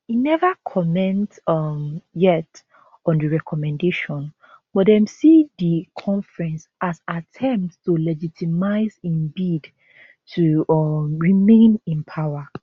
e neva comment um yet on di recommendation but dem see di conference as attempt to legitimise im bid to um remain in power